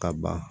Ka ban